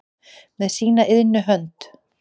með sína iðnu hönd